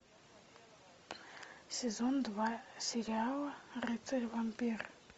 сезон два сериал рыцарь вампир